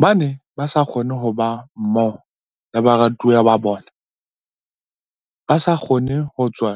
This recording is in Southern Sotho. Ba ne ba sa kgone ho ba mmoho le baratuwa ba bona, ba sa kgone ho tswa